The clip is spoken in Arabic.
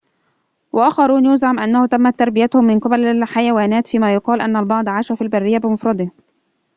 وآخرون يُزعم أنه تمت تربيتهم من قبل الحيوانات فيما يقال أن البعض عاش في البرية بمفرده